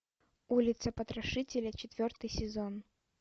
улица потрошителя четвертый сезон